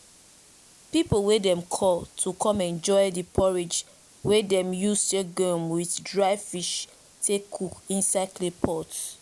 people way dem call to come enjoy the porridge way dem use sorghum with dry fish take cook inside clay pots.